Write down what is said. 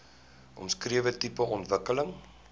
omskrewe tipe ontwikkeling